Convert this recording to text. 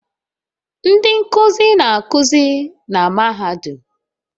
Ndị nkuzi na-akụzi na mahadum